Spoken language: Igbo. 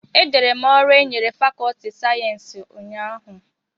Edere m ọrụ e nyere fàkọọtị sayensị ụnyahụ